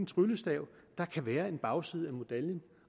tryllestav der kan være en bagside af medaljen